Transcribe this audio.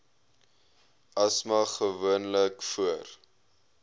asma gewoonlik voor